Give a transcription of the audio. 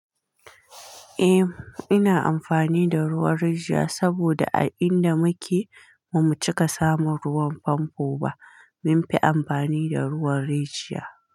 Eh, ina amfani da ruwan rijiya saboda a inda muke ba mu cika samun ruwan famfo ba. Mun fi amfani da ruwan rijiya.